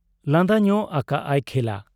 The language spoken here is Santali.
ᱞᱟᱸᱫᱟ ᱧᱚᱜ ᱟᱠᱟᱜ ᱟᱭ ᱠᱷᱮᱞᱟ ᱾